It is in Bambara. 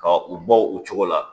Ka u bɔ o cogo la